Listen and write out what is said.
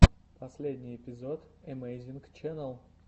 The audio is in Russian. последний эпизод эмэйзинг ченнал